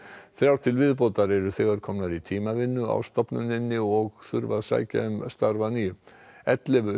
þrjár til viðbótar eru þegar komnar í tímavinnu á stofnuninni og þurfa að sækja um starf að nýju ellefu